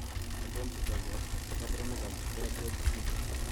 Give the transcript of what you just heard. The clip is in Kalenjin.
Achon chetogu ak kaborunoik ab beardwell syndrome?